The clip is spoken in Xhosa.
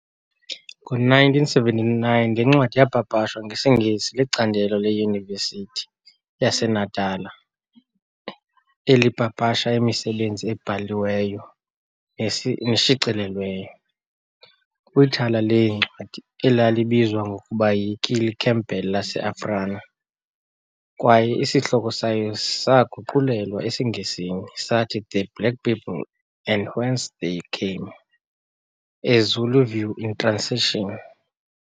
Ngo-1979, le ncwadi yaapapashwa ngesiNgesi licandelo leYunivesithi yaseNatala elipapasha imisebenzi ebhaliweyo neshicilelweyo, kwithala leencwadi elalibizwa ngokuba yi-Killie Campbell laseAfrana kwaye isihloko sayo saaguqulelwa esiNgesini sathi "The Black People and Whence they Came- A Zulu view in a translation."